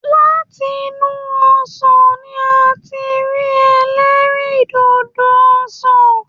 Látìnù ọsán ní a tí n rí elerindodo ọsán.